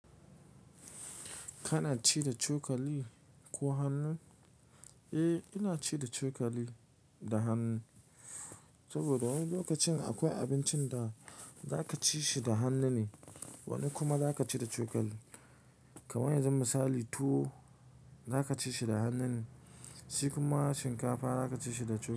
Kana ci da cokali ko hannu? Eh, ina ci da cokali da hannu. Saboda wani lokacin akwai abincin da zaka ci shi da hannu ne, wani kuma zaka ci da cokali. Kaman yanzun misali tuwo zaka ci shi da hannu ne, shi kuma shinkafa zaka ci shi da cokali.